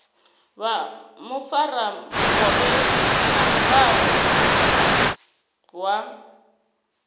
vha mufaramukovhe na muraḓo wa